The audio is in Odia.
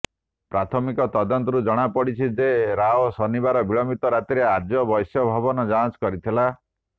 ପ୍ରାଥମିକ ତଦନ୍ତରୁ ଜଣା ପଡିଛି ଯେ ରାଓ ଶନିବାର ବିଳମ୍ବିତ ରାତ୍ରିରେ ଆର୍ଯ୍ୟ ବୈଶ୍ୟ ଭବନ ଯାଞ୍ଚ କରିଥିଲା